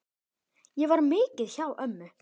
Ég var mikið hjá ömmu.